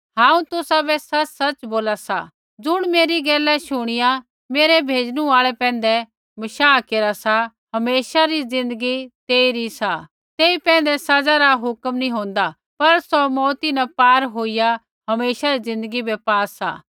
हांऊँ तुसाबै सच़सच़ बोला सा ज़ुण मेरी गैला शूणीऐ मेरै भेजणु आल़ै पैंधै बशाह केरा सा हमेशा री ज़िन्दगी तेइरी सा तेई पैंधै सज़ा रा हुक्म नैंई होंदा पर सौ मौऊती न पार होईया हमेशा री ज़िन्दगी बै पा सा